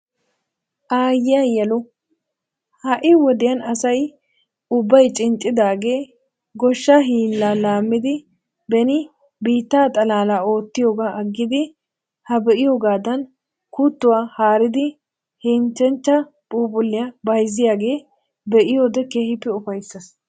Aayiya yelu! Ha'i wodiyan asay ubbay cinccidaagee goshshaa hillaa laamidi beni biittaa xalaala ottiyogaa aggidi ha be'iyoogaadan kuttuwa haaridi henchchechcha phuuphuliya bayzziyaagaa be'iyoode keehiippe ufaysees.